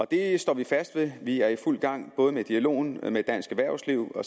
det står vi fast ved vi er i fuld gang med både dialogen med dansk erhvervsliv hvor